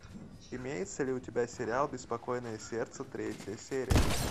имеется ли у тебя сериал беспокойное сердце третья серия